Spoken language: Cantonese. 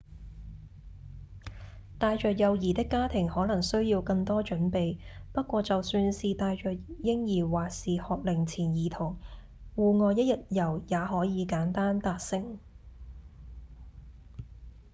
帶著幼兒的家庭可能需要更多準備不過就算是帶著嬰兒或是學齡前兒童戶外一日遊也可以簡單達成